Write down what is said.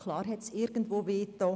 Klar hat es irgendwo wehgetan.